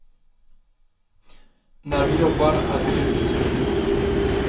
När vi jobbar är vi yrkesmänniskor.